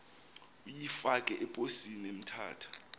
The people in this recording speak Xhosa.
uyifake eposini emthatha